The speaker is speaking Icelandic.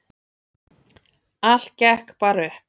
Allt gekk bara upp.